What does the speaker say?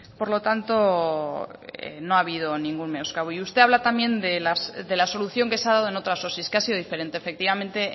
por lo tanto no ha habido ningún menoscabo y usted habla también de la solución que se ha dado en otras osi que ha sido diferente efectivamente